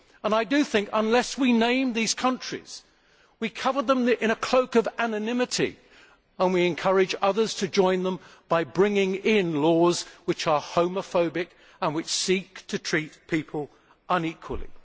I do think that if we do not name these countries, we cover them in a cloak of anonymity and we encourage others to join them by bringing in laws which are homophobic and which seek to treat people unequally.